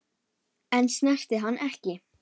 En snertu hana ekki.